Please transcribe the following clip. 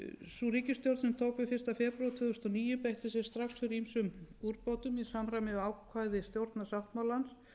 sú ríkisstjórn sem tók við fyrsta febrúar tvö þúsund og níu beitti sér strax fyrir ýmsum úrbótum í samræmi við ákvæði stjórnarsáttmálans